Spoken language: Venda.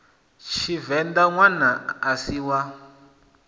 tshivenḓa ṋwana a si wa